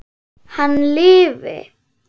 Hann lifi!